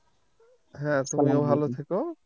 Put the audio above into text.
হ্যাঁ তুমিও ভাল থেক